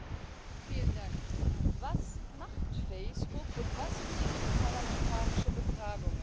Herr Präsident! Was macht Facebook, und was bringen parlamentarische Befragungen?